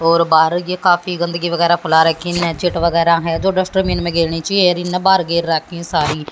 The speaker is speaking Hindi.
और बाहर ये काफी गंदगी वगैरा फैला रखी ने चिट वगैरा हैं जो डस्टबिन राखी हैं सारी।